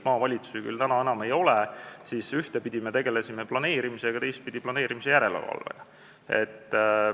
Ma tean, et ühtepidi me tegelesime planeerimisega, teistpidi planeerimise järelevalvega.